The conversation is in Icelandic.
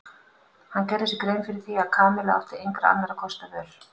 Hann gerði sér grein fyrir því að Kamilla átti engra annarra kosta völ.